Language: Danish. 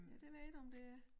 Ja det ved jeg ikke om det er